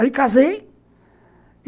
Aí casei.